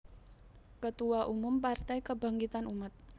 Ketua Umum Partai Kebangkitan Umat